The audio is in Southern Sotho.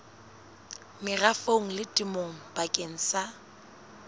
merafong le temong bakeng sa